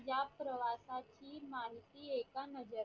या प्रवासाची माहिती एका नद्या